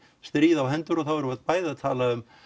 stríð á hendur og þá erum við bæði að tala um